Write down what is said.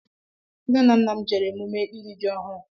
Nne na Nna m jere emume ịri jị ọhụụ